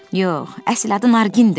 Yox, əsl adı Nargindir.